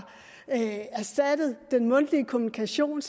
erstattet den mundtlige kommunikation